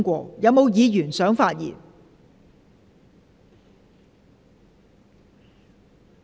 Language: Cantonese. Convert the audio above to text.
是否有議員想發言？